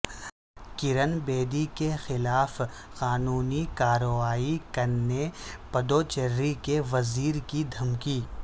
کرن بیدی کے خلاف قانونی کارروائی کرنے پدوچیری کے وزیر کی دھمکی